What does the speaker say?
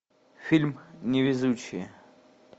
фильм невезучие